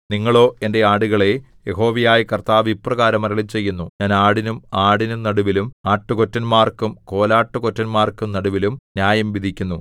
നിങ്ങളോ എന്റെ ആടുകളേ യഹോവയായ കർത്താവ് ഇപ്രകാരം അരുളിച്ചെയ്യുന്നു ഞാൻ ആടിനും ആടിനും നടുവിലും ആട്ടുകൊറ്റന്മാർക്കും കോലാട്ടുകൊറ്റന്മാർക്കും നടുവിലും ന്യായം വിധിക്കുന്നു